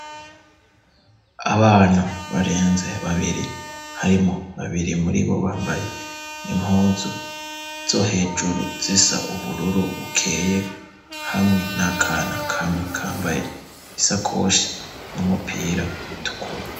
Abana barenze babiri harimwo babiri muri bo bambaye impuzu zo hejuru zisa ubururu bukeye hamwe nakana kamwe kambaye isakoshi n'umupira utukuru.